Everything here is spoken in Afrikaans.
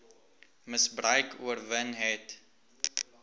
misbruik oorwin net